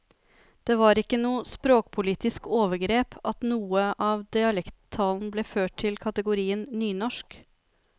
Det var ikke noe språkpolitisk overgrep at noe av dialekttalen ble ført til kategorien nynorsk.